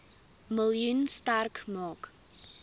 miljoen sterk maak